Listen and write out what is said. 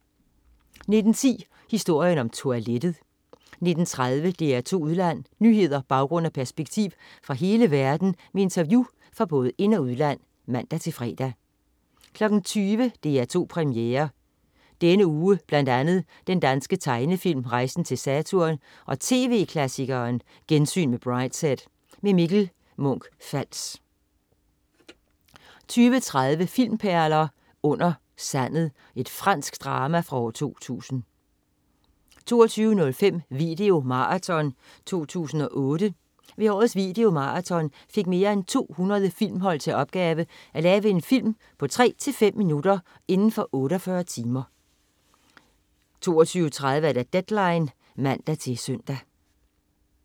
19.10 Historien om toilettet 19.30 DR2 Udland. Nyheder, baggrund og perspektiv fra hele verden med interview fra både ind- og udland (man-fre) 20.00 DR2 Premiere. Denne uge bl.a. den danske tegnefilm "Rejsen til Saturn" og tv-klassikeren "Gensyn med Brideshead". Mikkel Munch-Fals 20.30 Filmperler: Under sandet. Fransk drama fra 2000 22.05 VideoMarathon 2008. Ved årets VideoMarathon fik mere end 200 filmhold til opgave at lave en film på tre-fem minutter inden for 48 timer 22.30 Deadline (man-søn)